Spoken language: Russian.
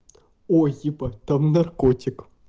ой ебать там наркотик